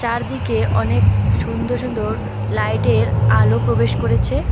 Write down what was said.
চারদিকে অনেক সুন্দর সুন্দর লাইট -এর আলো প্রবেশ করেছে।